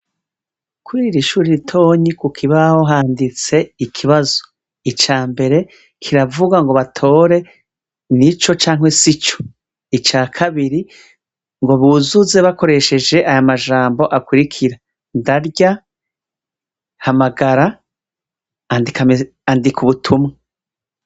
Kuriri shure ritonyi kukibaho handitse ikibazo, ica mbere kiravuga ngo batore: nico canke sico, ica kabiri ngo buzuze bakoresheje aya majambo akurikira: ndarya, hamagara, andika ubutumwa.